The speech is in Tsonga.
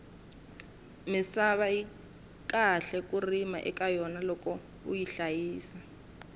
misava yi kahle ku rima eka yona loko uyi hlayisa